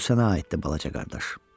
Bu sənə aiddir, balaca qardaş.